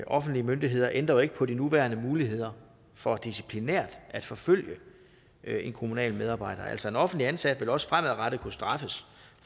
offentlige myndigheder ændrer heller ikke på de nuværende muligheder for disciplinært at forfølge en kommunal medarbejder altså en offentligt ansat vil naturligvis også fremadrettet kunne straffes